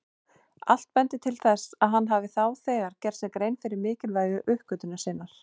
Allt bendir til að hann hafi þá þegar gert sér grein fyrir mikilvægi uppgötvunar sinnar.